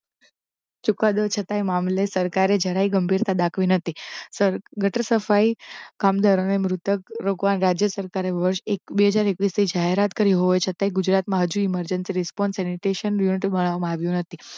ચુકાદો છતાય મામલે સરકારે જરાય ગંભીરતા દાખેલ કરી નથી ગટર સફાઈ કામદારો ને મૃતક લોકો ના વાતે સરકારે વષૅ બે હજાર એક્વીસ થી જાહેરાત કરી હોવા છ્તા ગુજરાત મા હજી emergency response aunties unit મા આવ્યો નથી